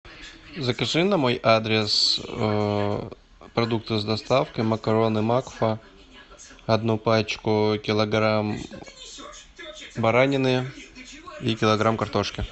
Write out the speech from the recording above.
закажи на мой адрес продукты с доставкой макароны макфа одну пачку килограмм баранины и килограмм картошки